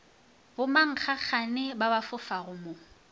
bommankgagane ba ba fofago mo